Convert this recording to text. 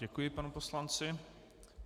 Děkuji panu poslanci.